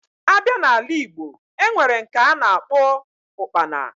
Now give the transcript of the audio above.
Abia na ala igbo, enwere nke ana akpo Ụkpana